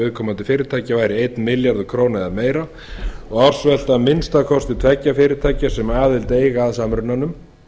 viðkomandi fyrirtækja væri einn milljarður króna eða meira og ársvelta að minnsta kosti tveggja fyrirtækja sem aðild eiga að samrunanum